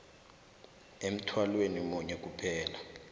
emthwalweni munye kuphela